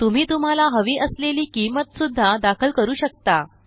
तुम्ही तुम्हाला हवी असलेली किंमत सुद्धा दाखल करू शकता